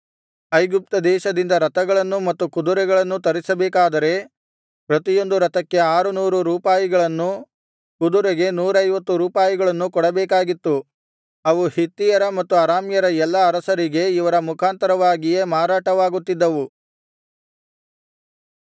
ಐಗುಪ್ತದೇಶದಿಂದ ರಥಗಳನ್ನೂ ಮತ್ತು ಕುದುರೆಗಳನ್ನೂ ತರಿಸಬೇಕಾದರೆ ಪ್ರತಿಯೊಂದು ರಥಕ್ಕೆ ಆರುನೂರು ರೂಪಾಯಿಗಳನ್ನೂ ಕುದುರೆಗೆ ನೂರೈವತ್ತು ರೂಪಾಯಿಗಳನ್ನೂ ಕೊಡಬೇಕಾಗಿತ್ತು ಅವು ಹಿತ್ತಿಯರ ಮತ್ತು ಅರಾಮ್ಯರ ಎಲ್ಲಾ ಅರಸರಿಗೆ ಇವರ ಮುಖಾಂತರವಾಗಿಯೇ ಮಾರಾಟವಾಗುತ್ತಿದ್ದವು